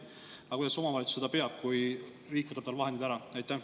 Aga kuidas see omavalitsus seda peab, kui riik võtab talt vahendid ära?